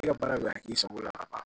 E ka baara bɛ ka k'i sago la a ban